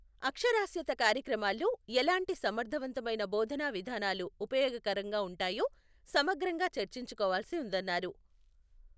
అక్షరాస్యతా కార్యక్రమాల్లో ఎలాంటి సమర్థవంతమైన బోధనావిధానాలు ఉపయోగకరంగా ఉంటాయో సమగ్రంగా చర్చించుకోవాల్సి ఉందన్నారు.